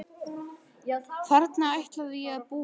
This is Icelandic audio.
Þarna ætlaði ég að búa ein.